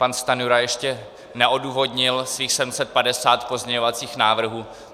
Pan Stanjura ještě neodůvodnil svých 750 pozměňovacích návrhů.